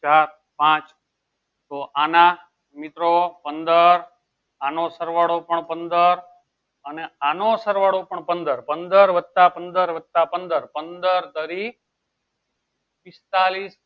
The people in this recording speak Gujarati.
ચાર પાંચ તો આના મિત્રો પંદર અનો સરવાળો પણ પંદર અને આનો સરવાળો પણ પંદર પંદર વત્તા પંદર વત્તા પંદર પંદર દરી પેત્તાલીસ